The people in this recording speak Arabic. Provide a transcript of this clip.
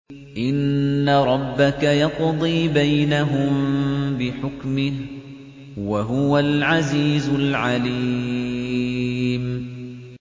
إِنَّ رَبَّكَ يَقْضِي بَيْنَهُم بِحُكْمِهِ ۚ وَهُوَ الْعَزِيزُ الْعَلِيمُ